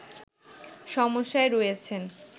সমস্যায় রয়েছেন